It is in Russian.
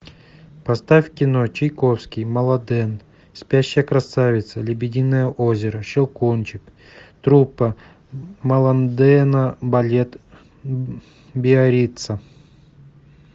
поставь кино чайковский маланден спящая красавица лебединое озеро щелкунчик труппа маландена балет биарицца